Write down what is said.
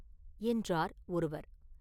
என்றார் ஒருவர்.